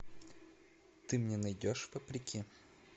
ты мне найдешь вопреки